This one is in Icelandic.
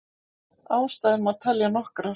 Ástæður má telja nokkrar.